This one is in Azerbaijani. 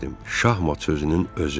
Şahmat sözünün özü.